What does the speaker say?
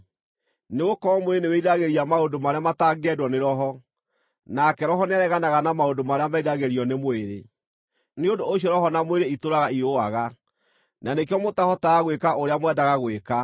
Nĩgũkorwo mwĩrĩ nĩwĩriragĩria maũndũ marĩa matangĩendwo nĩ Roho, nake Roho nĩareganaga na maũndũ marĩa meriragĩrio nĩ mwĩrĩ. Nĩ ũndũ ũcio Roho na mwĩrĩ itũũraga irũaga, na nĩkĩo mũtahotaga gwĩka ũrĩa mwendaga gwĩka.